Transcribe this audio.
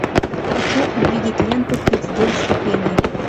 хочу увидеть ленту тридцать девять ступеней